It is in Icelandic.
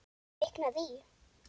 Kviknað í.